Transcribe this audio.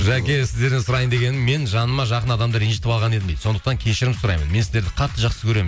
жәке сіздерден сұрайын дегенім мен жаныма жақын адамды ренжітіп алған едім дейді сондықтан кешірім сұраймын мен сіздерді қатты жақсы көремін